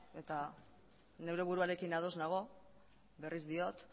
eta nire buruarekin ados nago berriz diot